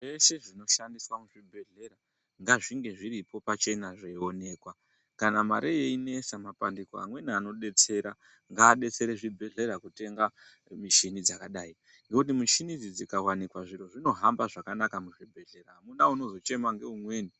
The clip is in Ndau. Zveshe zvinoshandiswa muzvibhedhlera ngazvinhe zviripo pachena zveiionekwa kana mare yeinesa mapandiko amweni anobetsera ngaabetsere zvibhedhlera kutenga michini dzakadai ngokuti michini idzi dzikawanikwa zviro zvinohamba zvakanaka muzvibhedhlera akuna unozochema ngeumweni.